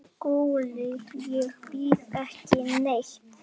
SKÚLI: Ég býð ekki neitt.